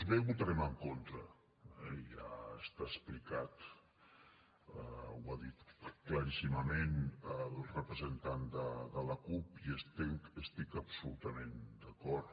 b hi votarem en contra eh ja està explicat ho ha dit claríssimament el representant de la cup i hi estic absolutament d’acord